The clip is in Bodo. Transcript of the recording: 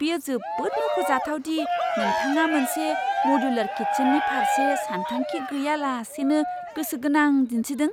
बेयो जोबोद मख'जाथाव दि नोंथाङा मोनसे मदुलार किचेननि फारसे सानथांखि गैयालासेनो गोसो गोनां दिन्थिदों!